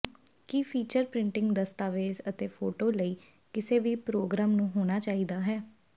ਕੀ feature printing ਦਸਤਾਵੇਜ਼ ਅਤੇ photo ਲਈ ਕਿਸੇ ਵੀ ਪ੍ਰੋਗਰਾਮ ਨੂੰ ਹੋਣਾ ਚਾਹੀਦਾ ਹੈ